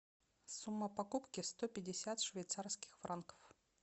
сумма покупки сто пятьдесят швейцарских франков